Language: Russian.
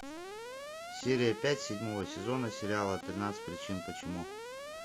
серия пять седьмого сезона сериала тринадцать причин почему